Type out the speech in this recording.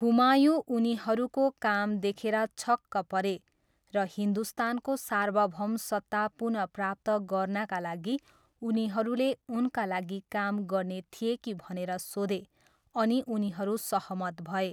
हुमायूँ उनीहरूको काम देखेर छक्क परे र हिन्दुस्तानको सार्वभौमसत्ता पुनःप्राप्त गर्नाका लागि उनीहरूले उनका लागि काम गर्ने थिए कि भनेर सोधे, अनि उनीहरू सहमत भए।